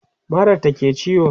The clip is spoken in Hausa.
marar ta ke ciwo